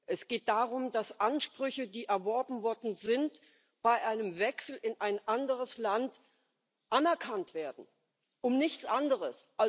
Es geht darum, dass Ansprüche, die erworben worden sind, bei einem Wechsel in ein anderes Land anerkannt werden um nichts anderes.